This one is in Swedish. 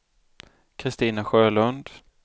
Kristina Sjölund